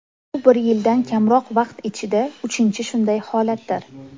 Bu bir yildan kamroq vaqt ichidagi uchinchi shunday holatdir.